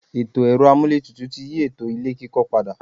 Ètò ẹ̀rọ-amúlétutù ti yí ètò ilé-kíkọ́ pada.